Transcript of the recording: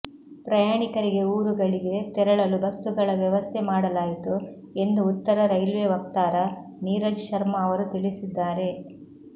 ಪ್ರಯಾಣಿಕರಿಗೆ ಊರುಗಳಿಗೆ ತೆರಳಲು ಬಸ್ಸುಗಳ ವ್ಯವಸ್ಥೆ ಮಾಡಲಾಯಿತು ಎಂದು ಉತ್ತರ ರೈಲ್ವೆ ವಕ್ತಾರ ನೀರಜ್ ಶರ್ಮಾ ಅವರು ತಿಳಿಸಿದ್ದಾರೆ